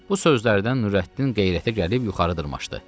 Bu sözlərdən Nurəddin qeyrətə gəlib yuxarı dırmaşdı.